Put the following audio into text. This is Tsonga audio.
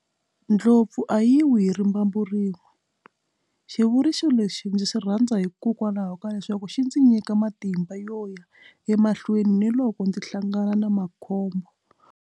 Ndlopfu a yi wi hi rimbambu rin'we xivuriso lexi ndzi xi rhandza hikokwalaho ka leswaku xi ndzi nyika matimba yo ya emahlweni ni loko ndzi hlangana na makhombo.